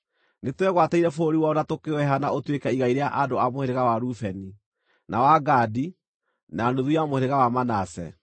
Nĩtwegwatĩire bũrũri wao na tũkĩũheana ũtuĩke igai rĩa andũ a mũhĩrĩga wa Rubeni, na wa Gadi, na nuthu ya mũhĩrĩga wa Manase.